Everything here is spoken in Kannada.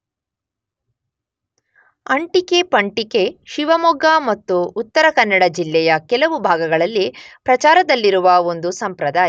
ಅಂಟಿಕೆ ಪಂಟಿಕೆ ಶಿವಮೊಗ್ಗ ಮತ್ತು ಉತ್ತರ ಕನ್ನಡ ಜಿಲ್ಲೆಯ ಕೆಲವು ಭಾಗಗಳಲ್ಲಿ ಪ್ರಚಾರದಲ್ಲಿರುವ ಒಂದು ಸಂಪ್ರದಾಯ.